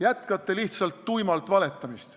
Jätkate lihtsalt tuimalt valetamist.